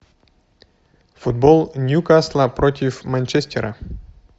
футбол ньюкасл против манчестера